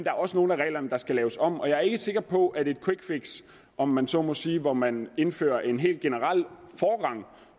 er også nogle af reglerne der skal laves om og jeg er ikke sikker på at et quick fix om man så må sige hvor man indfører en helt generel forrang